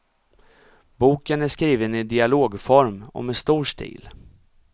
Boken är skriven i dialogform och med stor stil.